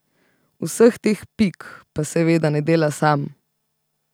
Vseh teh pik pa seveda ne dela sam.